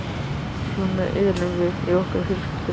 Svona erum við í okkar fjölskyldu.